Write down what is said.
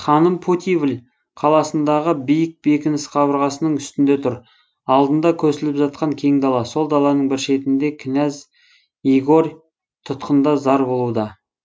ханым путивль қаласындағы биік бекініс қабырғасының үстінде тұр алдында көсіліп жатқан кең дала сол даланың бір шетінде кінәз игорь тұтқында зар болуда